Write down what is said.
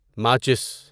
ماچس